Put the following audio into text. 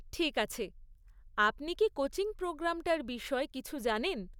ঠিক আছে, আপনি কি কোচিং প্রোগ্রামটার বিষয়ে কিছু জানেন?